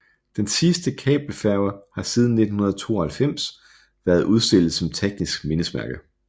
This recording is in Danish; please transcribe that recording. Den sidste kabelfærge har siden 1992 været udstillet som teknisk mindesmærke